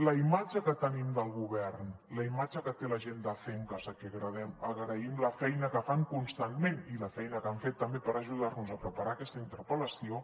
la imatge que tenim del govern la imatge que té la gent d’acencas a qui agraïm la feina que fan constantment i la feina que han fet també per ajudar nos a preparar aquesta intervenció